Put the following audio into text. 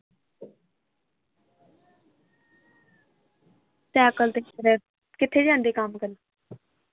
Cycle ਤੇ ਚਲਾ ਕਿਥੇ ਜਾਂਦੇ ਕੰਮ ਕਰਨ।